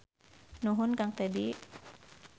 Nuhun Kang Tedi.